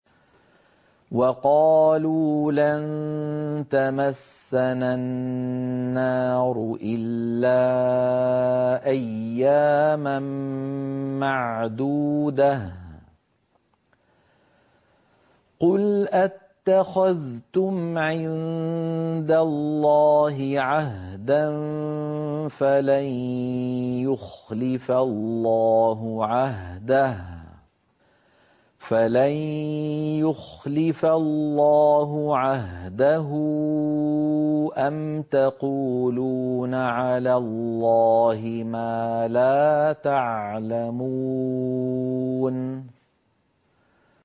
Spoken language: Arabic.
وَقَالُوا لَن تَمَسَّنَا النَّارُ إِلَّا أَيَّامًا مَّعْدُودَةً ۚ قُلْ أَتَّخَذْتُمْ عِندَ اللَّهِ عَهْدًا فَلَن يُخْلِفَ اللَّهُ عَهْدَهُ ۖ أَمْ تَقُولُونَ عَلَى اللَّهِ مَا لَا تَعْلَمُونَ